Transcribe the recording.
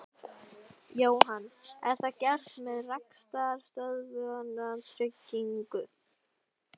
Jóhann: Er það gert með rekstrarstöðvunartryggingu?